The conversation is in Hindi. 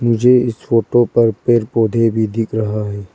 मुझे इस फोटो पर पेड़ पौधे भी दिख रहा है।